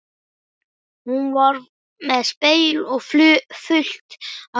Hún var með spegil og fullt af snyrtivörum í pennaveskinu.